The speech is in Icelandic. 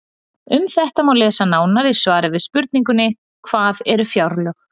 Um þetta má lesa nánar í svari við spurningunni Hvað eru fjárlög?